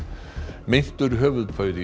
meintur höfuðpaur í